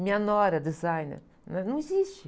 Minha nora, designer, né? Não existe.